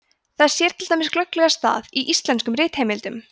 þess sér til dæmis glögglega stað í íslenskum ritheimildum